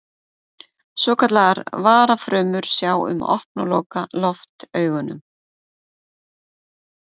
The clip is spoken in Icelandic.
Svokallaðar varafrumur sjá um að opna og loka loftaugunum.